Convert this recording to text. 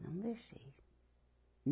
Não deixei.